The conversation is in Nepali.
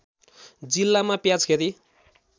जिल्लामा प्याज खेती